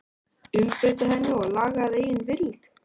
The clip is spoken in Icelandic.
Umbreyta henni og laga að eigin vild?